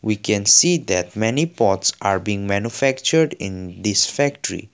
we can see that many pots are being manufactured in this factory.